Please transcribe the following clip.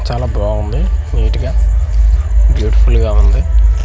చాలా బావుంది నీట్ గా బ్యూటిఫుల్ గా ఉంది.